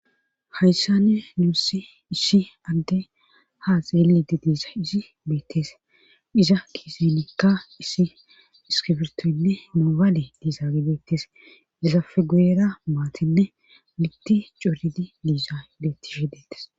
hayssanne nuussi issi adde ha xeelidi diisa izi beettees iza kiesenikka issi iskifirtoynne noobaale diizage beettes izafeguyera maatinne mitti coridi diiza ibettishe deettes